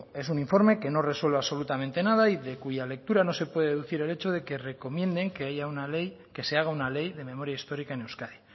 es un informe que no resuelve absolutamente nada y de cuya lectura no se puede deducir el hecho de que recomienden que haya una ley que se haga una ley de memoria histórica en euskadi